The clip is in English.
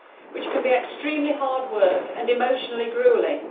which can be extremely hard work and emotionally gruelling.